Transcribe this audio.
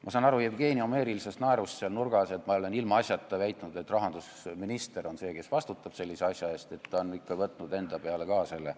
Ma saan Jevgeni homeerilisest naerust seal nurgas aru, et ma olen asjata väitnud, et rahandusminister vastutab sellise asja eest – ta ikka on võtnud enda peale ka seda süüd.